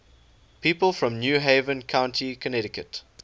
people from new haven county connecticut